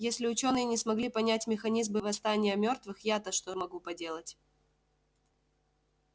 если учёные не смогли понять механизмы восстания мёртвых я то что могу поделать